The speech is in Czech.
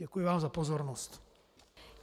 Děkuji vám za pozornost.